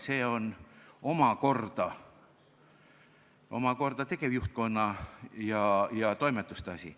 See on tegevjuhtkonna ja toimetuste asi.